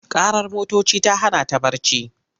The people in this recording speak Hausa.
Ƙarar motoci ta hana ta barci.